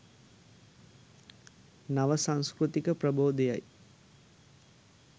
නව සංස්කෘතික ප්‍රබෝධය යි.